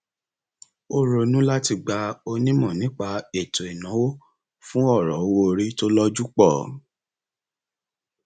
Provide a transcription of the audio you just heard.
ó ronú láti gba onímọ nípa ètò ìnáwó fún ọrọ owóorí tó lójú pọ